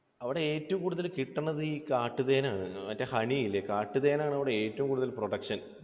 അവിടെ ഏറ്റവും കൂടുതൽ കിട്ടുന്നത് ഈ കാട്ടുതേൻ ആണ്. മറ്റേ honey ഇല്ലേ? കാട്ടുതേൻ ആണ് അവിടെ ഏറ്റവും കൂടുതൽ production.